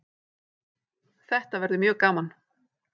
Þetta verður mjög gaman